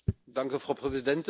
Frau Präsidentin!